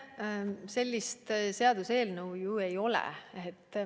Sellist seaduseelnõu ju ei ole.